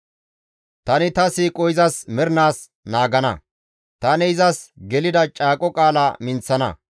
Tani ta siiqo izas mernaas naagana; tani izas gelida caaqo qaala minththana.